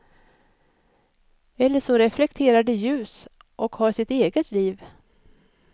Eller så reflekterar de ljus och har sitt eget liv.